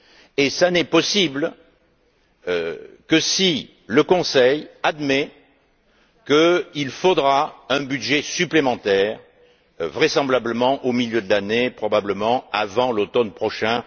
Et cela n'est possible que si le Conseil admet qu'il faudra un budget supplémentaire, vraisemblablement au milieu de l'année, probablement avant l'automne prochain.